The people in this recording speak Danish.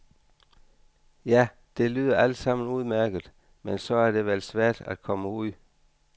Ja, det lyder alt sammen udmærket, men så er det vel svært at komme ud.